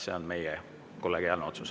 See on meie kollegiaalne otsus.